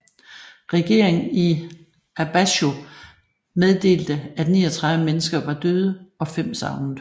Regeringen i Abazhou meddelte at 39 mennesker var døde og 5 savnet